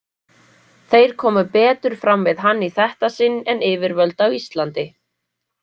Þeir komu betur fram við hann í þetta sinn en yfirvöld á Íslandi.